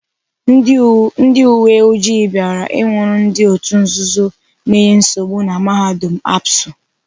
Ndị uweoji bịara ịnwụrụ ndị otu nzuzo na-enye nsogbu na mahadum ABSU.